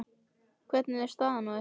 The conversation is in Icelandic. Hvernig er staðan á ykkur?